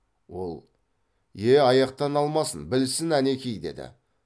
ол е аяқтан алмасын білсін әнеки деді